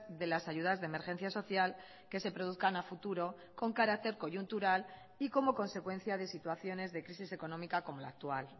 de las ayudas de emergencia social que se produzcan a futuro con carácter coyuntural y como consecuencia de situaciones de crisis económica como la actual